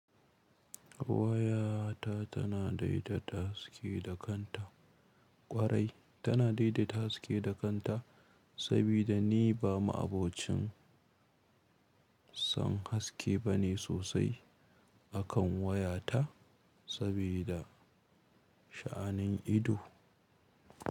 Wayata tana daidaita haske da kanta ƙwarai. Tana daidaita haske da kanta saboda ni ba ma'abocin son haske bane sosai a kan wayata saboda sha'anin ido.